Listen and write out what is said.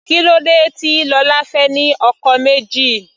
Kílódé tí Lola fẹ́ ní ọkọ méjì.